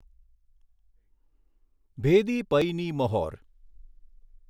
ભેદી પઈની મહોર